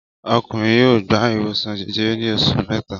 Ọkùnrin yóò gba ìwòsàn jẹjẹrẹ ní oṣù mẹ́ta.